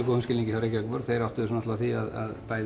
góðum skilningi hjá Reykjavíkurborg þeir áttuðu sig á því að bæði